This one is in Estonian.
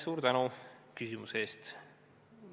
Suur tänu küsimuse eest!